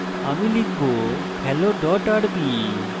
আমি লিখব hello rb